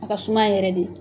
A ka suma yɛrɛ de